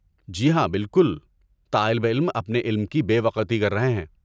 جی ہاں، بالکل، طالب علم اپنے علم کی بے وقعتی کر رہے ہیں۔